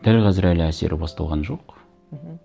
дәл қазір әлі әсері басталған жоқ мхм